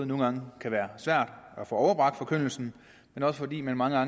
nogle gange kan være svært at få overbragt forkyndelsen men også fordi det mange